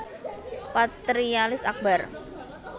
Patrialis Akbar